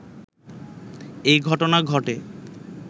এই ঘটনা ঘটে